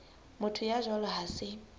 motho ya jwalo ha se